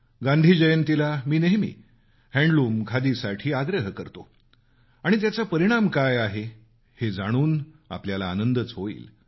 गांधी जयंतीला मी नेहमी हातमाग खादीसाठी आग्रह करतो आणि त्याचा परिणाम काय आहे हे जाणून आपल्याला आनंदच होईल